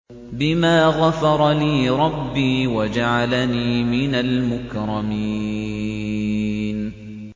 بِمَا غَفَرَ لِي رَبِّي وَجَعَلَنِي مِنَ الْمُكْرَمِينَ